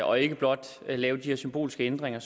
og ikke blot lave de her symbolske ændringer